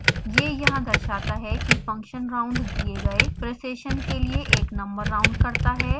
यह यहाँ दर्शाता है कि function round दिए गए precision के लिए एक नंबर राउंड करता है